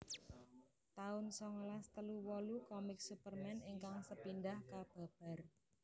taun songolas telu wolu Komik Superman ingkang sepindhah kababar